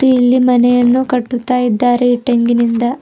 ಇಲ್ಲಿ ಮನೆಯನ್ನು ಕಟ್ಟುತ್ತಾ ಇದ್ದಾರೆ ಇಟ್ಟಾಗಿನಿಂದ.